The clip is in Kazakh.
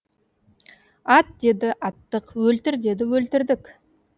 ат деді аттық өлтір деді өлтірдік